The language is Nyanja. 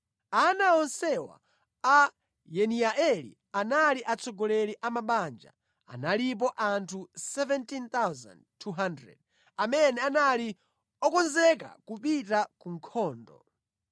Ana onsewa a Yediaeli anali atsogoleri a mabanja. Analipo anthu 17,200 amene anali okonzeka kupita ku nkhondo.